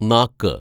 നാക്ക്